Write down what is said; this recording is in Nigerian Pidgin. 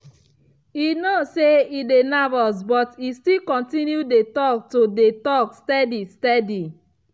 e know say e dey nervous but e still continue to dey talk to dey talk steady steady.